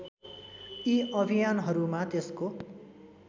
यी अभियानहरूमा त्यसको